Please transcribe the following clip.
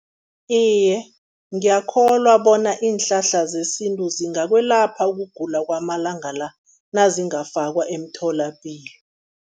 Iye, ngiyakholwa bona iinhlahla zesintu zingakwelapha ukugula kwamalanga la, nazingafakwa emtholapilo.